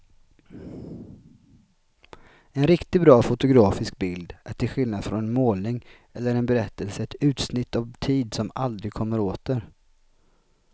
En riktigt bra fotografisk bild är till skillnad från en målning eller en berättelse ett utsnitt av tid som aldrig kommer åter.